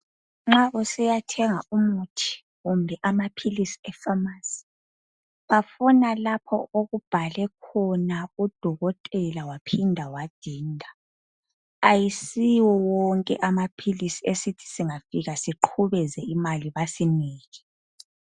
Nxa usiya thenga umuthi kumbe amaphilisi e phamarcy bafuna lapho okubhale khona udokotela waphinda wadinda ayisiwo wonke amaphilisi esithi singafika siqhubeze imali basinike.